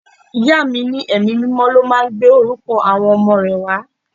Ìyá mi ní Ẹ̀mí mímọ́ ló máa ń gbé orúkọ àwọn ọmọ rẹ wá.